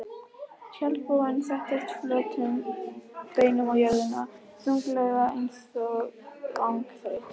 Tjaldbúinn settist flötum beinum á jörðina, þunglega einsog langþreyttur.